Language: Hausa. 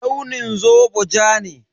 Launin zobo ja ne.